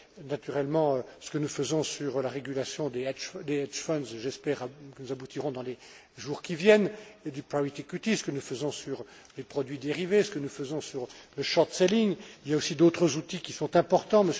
Naturellement, ce que nous faisons sur la régulation des hedge funds et j'espère que nous aboutirons dans les jours qui viennent, et du private equities que nous faisons sur les produits dérivés, ce que nous faisons sur le short selling Il y a aussi d'autres outils qui sont importants.